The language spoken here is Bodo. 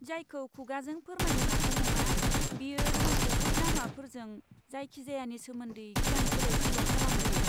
जायखौ खुगाजों फोरमायनो हाथाव नङा, बेयो जोंखौ बै लामाफोरजों जायखिजायानि सोमोन्दै गियान सोलायसोल' खालामहोयो।